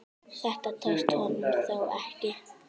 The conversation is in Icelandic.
Þetta tókst honum þó ekki.